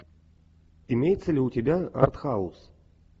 имеется ли у тебя артхаус